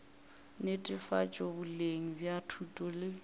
netefatšo boleng bja thuto le